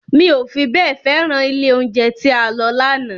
Mi ò fi bẹ́ẹ̀ féràn ilé oúnjẹ tí a lọ lánàá